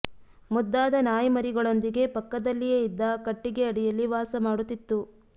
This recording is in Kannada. ಮುದ್ದಾದ ನಾಯಿ ಮರಿಗಳೊಂದಿಗೆ ಪಕ್ಕದಲ್ಲಿಯೇ ಇದ್ದ ಕಟ್ಟಿಗೆ ಅಡಿಯಲ್ಲಿ ವಾಸ ಮಾಡುತ್ತಿತ್ತು